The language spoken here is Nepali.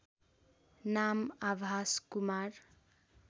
नाम आभास कुमार